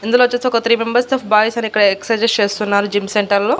ఇందులో వచ్చేసి ఒక త్రీ మెంబర్స్ తో బాయ్స్ అని ఎక్ససైజ్ చేస్తున్నారు జిమ్ సెంటర్లో .